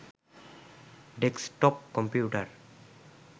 desktop computer